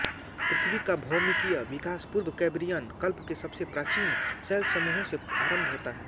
पृथ्वी का भौमिकीय विकास पूर्व कैंब्रियन कल्प के सबसे प्राचीन शैलसमूहों से आरंभ होता है